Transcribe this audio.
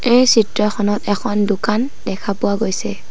এই চিত্ৰখনত এখন দোকান দেখা পোৱা গৈছে।